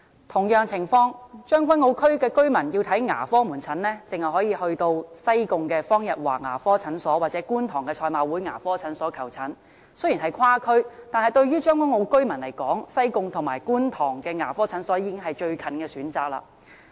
同樣情況，將軍澳區居民要看牙科門診，只可以選擇到西貢方逸華牙科診所或觀塘的賽馬會牙科診所求診，雖然是跨區，但對於將軍澳居民來說，西貢和觀塘的牙科診所已經是最近的選擇。